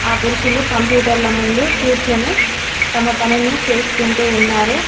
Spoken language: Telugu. ఆ పురుషులు కంప్యూటర్ల ముందు కూర్చొని తమ పనిని చేసుకుంటూ ఉన్నారు.